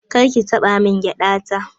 Kar ki taɓa min gyaɗa ta.